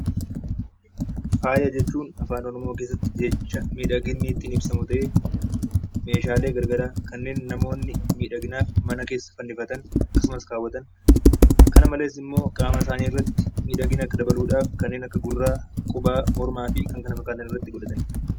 Faaya jechuun Afaan Oromoo keessatti jecha miidhaginni ittiin ibsamu ta'ee meeshaalee gar garaa kanneen namoonni miidhaginaaf mana keessa fannifatan akkasumas kaawwatan; kana malees immoo qaama isaanii irratti miidhagina akka dabaluudhaaf kanneen akka gurraa, qubaa, mormaa fi kan kana fakkaatan irratti godhatanidha.